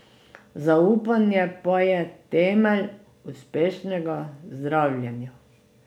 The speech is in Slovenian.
Zaupanje pa je temelj uspešnega zdravljenja.